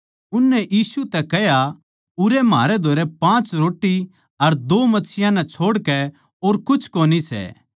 उननै यीशु तै कह्या उरै म्हारै धोरै पाँच रोट्टी अर दो मच्छियाँ नै छोड़कै और कुछ कोनी सै